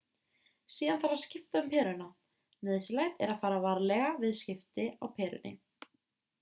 síðan þarf að skipta um peruna nauðsynlegt er að fara varlega við skipti á perunni